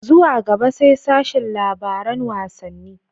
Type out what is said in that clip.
Zuwa gaba sai sashin labaran wassani.